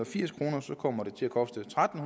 firs kroner kommer det til at koste tretten